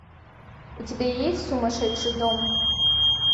у тебя есть сумасшедший дом